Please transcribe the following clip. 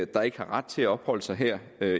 der ikke har ret til at opholde sig her